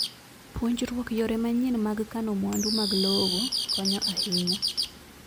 Puonjruok yore manyien mag kano mwandu mag lowo konyo ahinya.